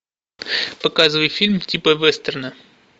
показывай фильм типа вестерна